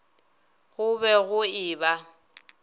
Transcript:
go be go e ba